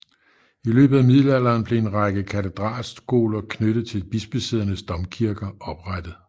I løbet af middelalderen blev en række katedralskoler knyttet til bispesædernes domkirker oprettet